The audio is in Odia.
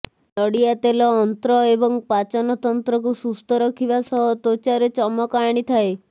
ନଡ଼ିଆ ତେଲ ଅନ୍ତ୍ର ଏବଂ ପାଚନ ତନ୍ତ୍ରକୁ ସୁସ୍ଥ ରଖିବା ସହ ତ୍ବଚାରେ ଚମକ ଆଣିଥାଏ